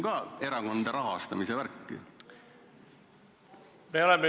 See on ka erakondade rahastamise teema.